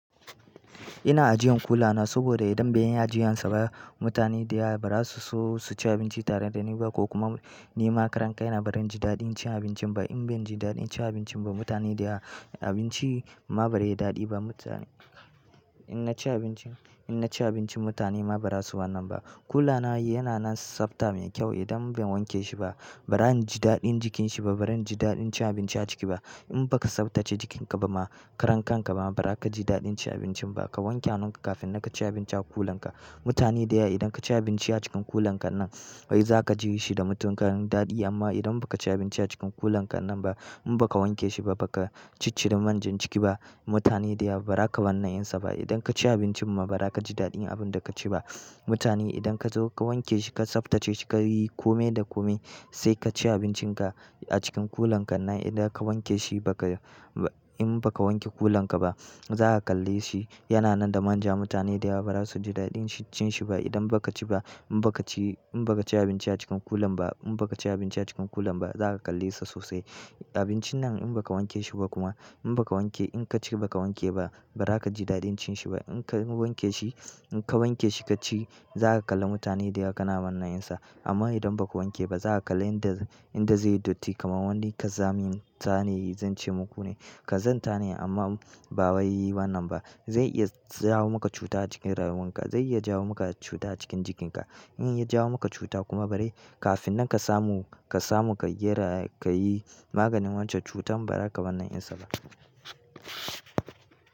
Ina ajiyan kula na saboda idan bai yi ajiyan sa ba mutane da yawa ba za su so su ci abinci tare da ni ba ko kuma ni ma karan kai na ba zan ji daɗin cin abincin ba. In ban ji daɗin cin abincin ba mutane da ya abinci ma ba zai yi daɗi ba mutane. In naci abincin, in naci abincin mutane ma ba za su wanan ba. Kula na yana nan sabta min kyau idan ban wanke shi ba. Ba zan ji daɗin jikin shi ba, ba zan ji daɗin cin abinci a ciki ba. In baka sabtace jikin ka ba ma karan ka ka ma ba za ka ji daɗin cin abincin ba. Ka wanke hanunka kafin nakaci abinci a kulan ka. Mutane da ya idan ka ci abinci a cikin kulan ka nan wai za ka ji shi da mutuƙar daɗi amma idan baka ci abinci a cikin kulan ka nan ba in baka wanke shi ba baka ciccire man jan jiki ba mutane da yawa ba za ka wannan yin sa ba. Idan ka ci abincin ma ba za ka ji daɗin abin da ka ci ba. Mutane idan ka zo ka wanke shi ka sabtace shi ka yi kome da kome sai ka ci abincin ka a cikin kulan ka nan idan ka wanke shi ba ka, in baka wanke kulan ka ba za ka kalli shi. Yana nan da manja mutane da ya ba za su ji daɗin cin shi ba idan baka ci ba. In baka ci, in baka ci abinci a cikin kulan ba in baka ci abinci a cikin kulan ba za ka kalli sa sosai. Abincin nan in baka wanke shi ba kuma in baka wanke in ka ci baka wanke ba ba za ka ji daɗin cin shi ba. In ka wanke shi in ka wanke shi ka ci za ka kalla mutane da ya kana wannan yin sa. Amma idan baka wanke ba za ka kalla inda, inda zai yi datti kamar wanda ka zamin. Ta ne zan ce muku ne, kazanta ne amma ba wai wannan ba. Zai iya jawo maka cuta a cikin rayuwan ka, zai iya jawo maka cuta a cikin jikin ka. In ya jawo maka cuta kuma bari kafin nan ka samu, ka samu ka yi ra, ka yi maganin wancan cutan ba za ka wannan yin sa ba.